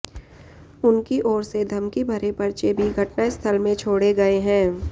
उनकी ओर से धमकी भरे पर्चे भी घटना स्थल में छोड़े गए है